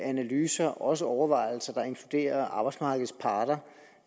analyser og også overvejelser der inkluderer arbejdsmarkedets parter